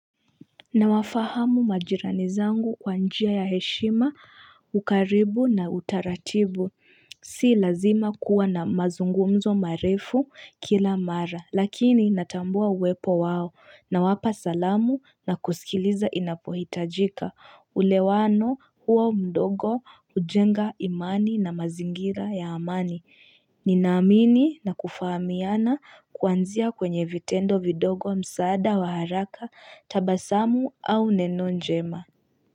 Na wafahamu majirani zangu kwa njia ya heshima, ukaribu na utaratibu. Si lazima kuwa na mazungumzo marefu kila mara. Lakini natambua uwepo wao. Na wapa salamu na kusikiliza inapohitajika. Ulewano huo mdogo hujenga imani na mazingira ya amani. Ninaamini na kufahamiana kuanzia kwenye vitendo vidogo msaada wa haraka tabasaamu au neno njema.